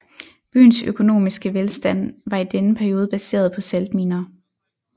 Byens økonomiske velstand var i denne periode baseret på saltminer